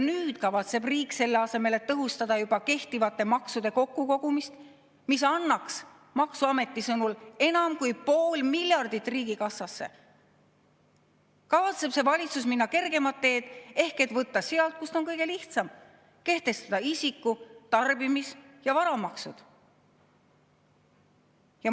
Nüüd kavatseb riik, selle asemel, et tõhustada juba kehtivate maksude kokkukogumist, mis tooks maksuameti sõnul riigikassasse enam kui pool miljardit, minna kergemat teed ehk võtta sealt, kust on kõige lihtsam võtta: kehtestada isiku‑, tarbimis‑ ja varamaksud.